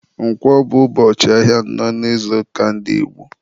Nkwọ bụ ụbọchị nke anọ n'izuụka ndị Igbo.